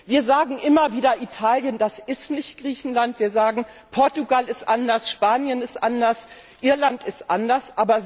Wir sagen immer wieder, Italien ist nicht Griechenland, wir sagen Portugal ist anders, Spanien ist anders, Irland ist anders.